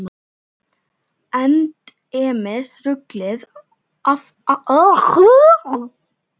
Endemis ruglið alltaf og æðibunugangurinn í þessari konu.